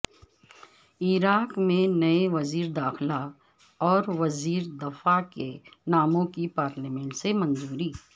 عراق میں نئے وزیرداخلہ اوروزیردفاع کے ناموں کی پارلیمنٹ سے منظوری